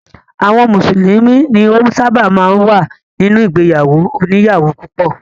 Àwọn mùsùlùmí ni ó ṣábà máa ń wà nínú ìgbéyàwó òníyàwó púpọ̀.